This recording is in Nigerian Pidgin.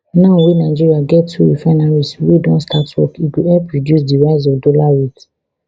now wey nigeria get two refineries wey don start work e go help reduce di rise of dollar rate